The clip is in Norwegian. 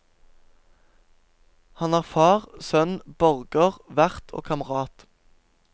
Han er far, sønn, borger, vert og kamerat.